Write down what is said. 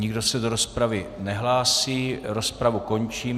Nikdo se do rozpravy nehlásí, rozpravu končím.